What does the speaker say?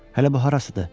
Hələ bu harasıdır?